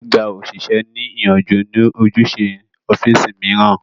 Gbí gba òṣìṣẹ́ ní ìyànjú ní ojúṣe ọ́físì mìíràn